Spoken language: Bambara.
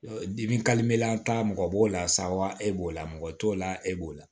Dimi ta mɔgɔ b'o la sawa e b'o la mɔgɔ t'o la e b'o la